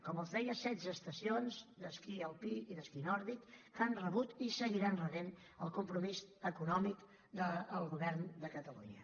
com els deia setze estacions d’esquí alpí i d’esquí nòrdic que han rebut i seguiran rebent el compromís econòmic del govern de catalunya